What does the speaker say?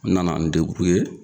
N nana n